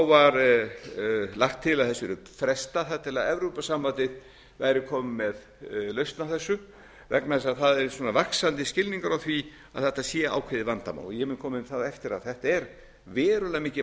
var lagt til að þessu yrði frestað þar til evrópusambandið væri komið með lausn á þessu vegna þess að það er vaxandi skilningur á því að þetta sé ákveðið vandamál ég mun koma inn á það á eftir að þetta er verulega mikið